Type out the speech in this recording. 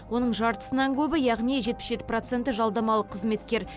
оның жартысынан көбі яғни жетпіс жеті проценті жалдамалы қызметкер